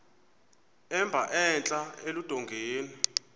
emba entla eludongeni